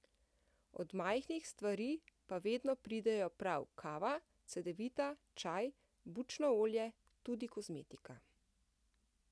Od majhnih stvari pa vedno pridejo prav kava, cedevita, čaj, bučno olje, tudi kozmetika.